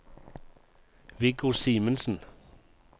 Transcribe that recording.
Viggo Simensen